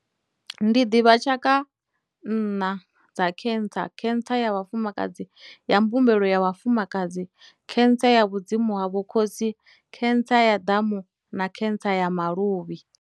Ndi ḓivha tshaka nṋa dza cancer, cancer ya vhafumakadzi ya mbumbelo ya vhafumakadzi, cancer ya vhudzimu ha vho khotsi, cancer ya ḓamu, na cancer ya maluvhi.